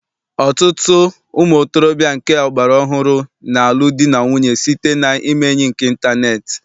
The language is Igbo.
Ọtụtụ ụmụntorobịa nke ọgbara ọhụrụ na-alụ di na nwunye site na ime enyi nke ịntaneetị.